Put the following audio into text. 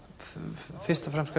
fyrst og fremst